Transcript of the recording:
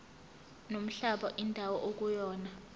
nomhlaba indawo ekuyona